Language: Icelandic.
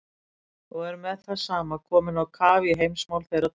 Og er með það sama komin á kaf í heimsmál þeirra tíma.